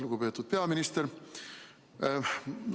Lugupeetud peaminister!